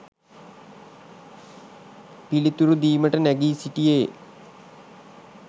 පිළිතුරු දීමට නැඟී සිටියේ